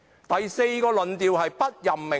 第四個是"不任命論"。